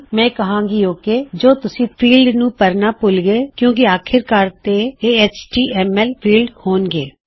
ਮੈਂ ਕਹਾਂਗੀ ਓਕ ਜੇ ਤੁਸੀਂ ਫੀਲਡ ਨੂੰ ਭਰਣਾ ਭੁਲ ਗਏ ਕਿੳਂ ਕਿ ਆਖਿਰਕਾਰ ਤੇ ਇਹ ਐਚਟੀਐਮਐਲ ਫੀਲਡਜ਼ ਹੋਣ ਗੇ